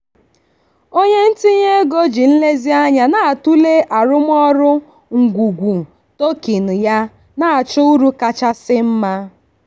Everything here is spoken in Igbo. onye ntinye ego ji nlezianya na-atụle arụmọrụ ngwungwu token ya na-achọ uru kachasị mma.